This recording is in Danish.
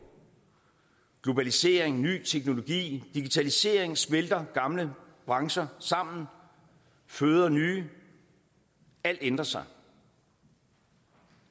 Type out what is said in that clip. globalisering ny teknologi og digitalisering smelter gamle brancher sammen og føder nye alt ændrer sig